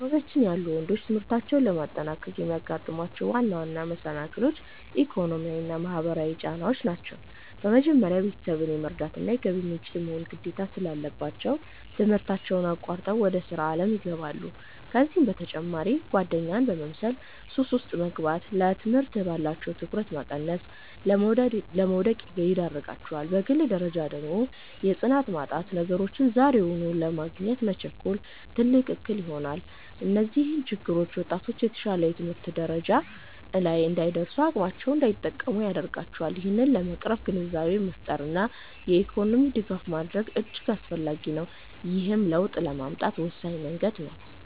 በአካባቢያችን ያሉ ወንዶች ትምህርታቸውን ለማጠናቀቅ የሚያጋጥሟቸው ዋና ዋና መሰናክሎች፣ ኢኮኖሚያዊና ማህበራዊ ጫናዎች ናቸው። በመጀመሪያ፣ ቤተሰብን የመርዳትና የገቢ ምንጭ የመሆን ግዴታ ስላለባቸው፣ ትምህርታቸውን አቋርጠው ወደ ሥራ ዓለም ይገባሉ። ከዚህም በተጨማሪ ጓደኛን መምሰልና ሱስ ውስጥ መግባት፣ ለትምህርት ያላቸውን ትኩረት በመቀነስ ለውድቀት ይዳርጋቸዋል። በግል ደረጃ ደግሞ የጽናት ማጣትና ነገሮችን ዛሬውኑ ለማግኘት መቸኮል፣ ትልቅ እክል ይሆናል። እነዚህ ችግሮች ወጣቶች የተሻለ የትምህርት ደረጃ ላይ እንዳይደርሱና አቅማቸውን እንዳይጠቀሙ ያደርጋቸዋል። ይህንን ለመቅረፍ ግንዛቤን መፍጠርና የኢኮኖሚ ድጋፍ ማድረግ እጅግ አስፈላጊ ነው፤ ይህም ለውጥ ለማምጣት ወሳኝ መንገድ ነው።